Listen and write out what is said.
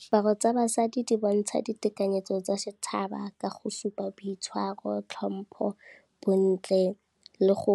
Diaparo tsa basadi di bontsha ditekanyetso tsa setšhaba ka go supa boitshwaro, tlhompho, bontle le go